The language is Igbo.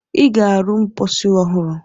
Ị ga-arụ mposi ọhụrụ!